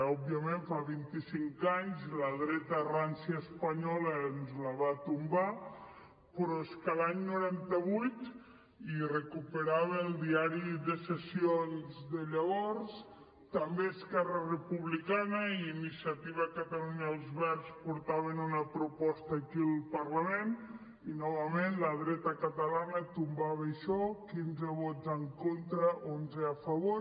òbviament fa vint i cinc anys la dreta rància espanyola ens la va tombar però és que l’any noranta vuit i recuperava el diari de sessions de llavors també esquerra republicana i iniciativa per catalunya els verds portaven una proposta aquí al parlament i novament la dreta catalana tombava això quinze vots en contra onze a favor